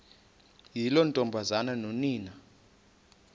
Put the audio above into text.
yiloo ntombazana nonina